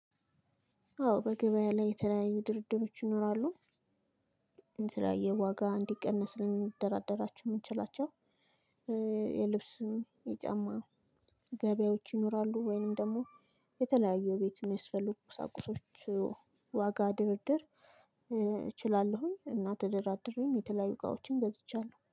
አዎ በገበያ ላይ የተለያዩ ድርድሮች ይኖራሉ። የተለያየ ዋጋ እንዲቀነስ ልንደራደራቸው የምንችላቸው። የልብስም የጫማ ገቢያዎች ይኖራሉ። ወይንም ደግሞ የተለያየ ቤት የሚያስፈልጉ ቁሳቁሶች ዋጋ ድርድር እችላለሁኝ። እና ተደራድሬም የተለያዩ እቃዎችን ገዝቻለሁ